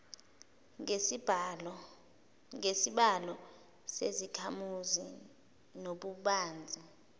ngesibalo sezakhamuzi nobubanzi